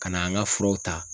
Ka na an ŋa furaw ta